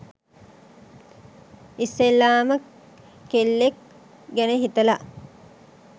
ඉස්සෙල්ලාම කෙල්ලෙක් ගැන හිතලා